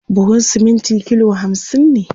buhun siminti kilo hamsin ne